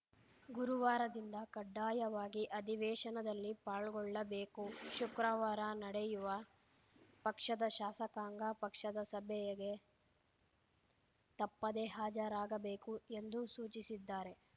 ಗುರುವಾರದಿಂದ ಕಡ್ಡಾಯವಾಗಿ ಅಧಿವೇಶನದಲ್ಲಿ ಪಾಲ್ಗೊಳ್ಳಬೇಕು ಶುಕ್ರವಾರ ನಡೆಯುವ ಪಕ್ಷದ ಶಾಸಕಾಂಗ ಪಕ್ಷದ ಸಭೆಯಗೆ ತಪ್ಪದೇ ಹಾಜರಾಗಬೇಕು ಎಂದು ಸೂಚಿಸಿದ್ದಾರೆ